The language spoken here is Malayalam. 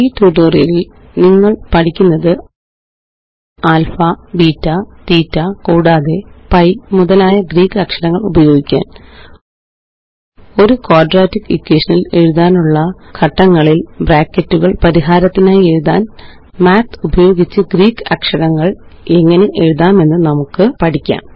ഈ ട്യൂട്ടോറിയലില് നിങ്ങള് പഠിക്കുന്നത് ആല്ഫാ ബീറ്റാ തീറ്റ കൂടാതെ പൈ മുതലായ ഗ്രീക്ക് അക്ഷരങ്ങള് ഉപയോഗിക്കാന് ഒരു ക്വാദ്രാറ്റിക് ഇക്വേഷനില് എഴുതാനുള്ള ഘട്ടങ്ങളില് ബ്രാക്കറ്റുകള് പരിഹാരത്തിനായി എഴുതാന് മാത്ത് ഉപയോഗിച്ച് ഗ്രീക്ക് അക്ഷരങ്ങള് എങ്ങനെ എഴുതാമെന്ന് നമുക്ക് പഠിക്കാം